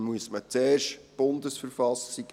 Dazu müsste man zuerst die BV ändern.